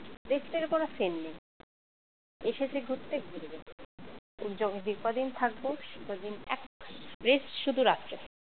rest এর কোন scene নেই এসেছি ঘুরতে ঘুরবো যে কদিন থাকব সেই কদিন এক rest শুধু রাত্রিবেলায়